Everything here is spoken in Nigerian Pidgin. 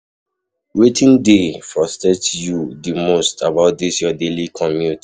Wetin dey frustrate you di most about dis your daily commute?